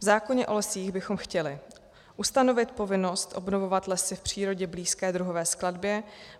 V zákoně o lesích bychom chtěli ustanovit povinnost obnovovat lesy v přírodě blízké druhové skladbě.